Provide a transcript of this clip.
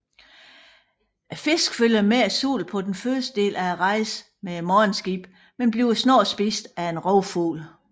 Fisken følger med solen på første del af rejsen med morgenskibet men bliver snat spist af en rovfugl